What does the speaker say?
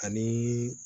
Ani